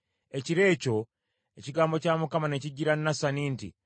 Ekiro ekyo ekigambo kya Mukama ne kijjira Nasani nti,